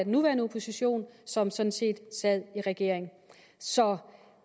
nuværende opposition som sådan set sad i regering så